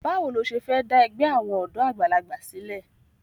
Báwo lo ṣe fẹ́ dá ẹgbẹ́ àwọn ọ̀dọ́ àgbàlagbà sílẹ̀?